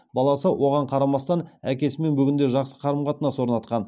баласы оған қарамастан әкесімен бүгінде жақсы қарым қатынас орнатқан